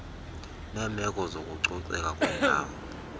neemeko zokucoceka kwendawo